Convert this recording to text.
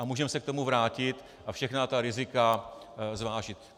A můžeme se k tomu vrátit a všechna ta rizika zvážit.